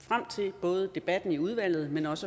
frem til både debatten i udvalget men også